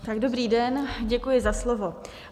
Dobrý den, děkuji za slovo.